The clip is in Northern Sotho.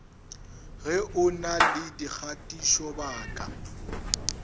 ge o na le dikgatišobaka